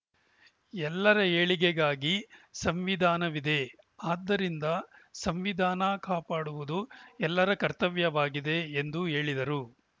ಎಲ್ಲರ ಏಳಿಗೆಗಾಗಿ ಸಂವಿಧಾನವಿದೆ ಆದ್ದರಿಂದ ಸಂವಿಧಾನ ಕಾಪಾಡುವುದು ಎಲ್ಲರ ಕರ್ತವ್ಯವಾಗಿದೆ ಎಂದು ಹೇಳಿದರು